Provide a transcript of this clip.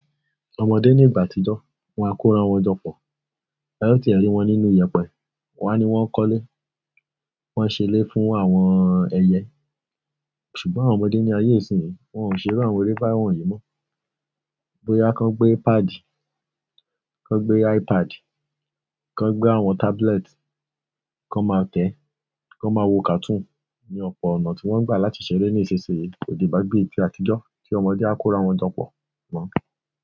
Àwọn ọmọdé ní ìgbà àtijọ́, wọn á kóra wọn jọ pọ̀. A yóò ti rí wọn nínú iyẹ̀pẹ̀. Wá ni wọ́n ń kọ́lé, wọ́n ń ṣe ilé fún àwọn ẹyẹ. Ṣùgbọ́n àwọn ọmọdé ní ayé ìsín yìí, wọn ò ṣèrànwó eré bá wọ̀nyí mọ́. Gboya kàn gbé padì, kàn gbé iPad, kàn gbé àwọn tablet, kàn máa tẹ́, kàn máa wo kàtún ní ọ̀pọ̀ ọ̀nà tí wọ́n gbà láti ṣeré ní ìṣesíye kò di bá bíi ti àtijọ́ tí ọmọdé á kóra wọn jọ pọ̀ mọ́.